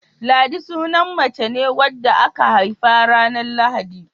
Ladi sunan mace ne wadda aka haifa ranar Lahadi.